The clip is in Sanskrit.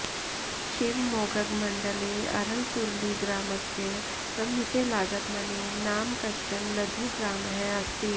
शिवमोग्गमण्डले अरळसुरली ग्रामस्य समीपे लागदमने नाम कश्चन लधु ग्रामः अस्ति